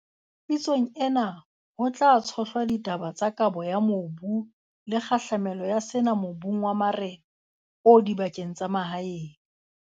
Pitsong ena, ho tla tshohlwa ditaba tsa kabo ya mobu le kgahlamelo ya sena mobung wa marena o dibakeng tsa mahaeng.